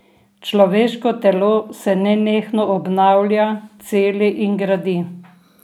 Človeško telo se nenehno obnavlja, celi in gradi.